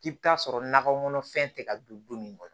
K'i bɛ taa sɔrɔ nakɔkɔnɔ fɛn tɛ ka don du min kɔnɔ